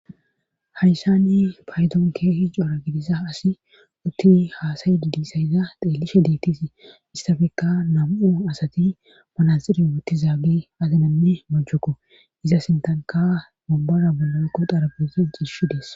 hayssani paydon keehi coora gidissa asi utti haasayi i disayiza xeelishe diittis istafekka nam7o asati manasiri wutti zaagi azinanne mojjuko iza sintanka wombara bola utida adezi betishe dees